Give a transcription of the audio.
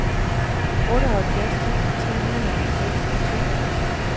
otteoghalvfjerds tusind tre hundrede og seksogtyve